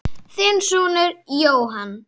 Þinn sonur Jóhann.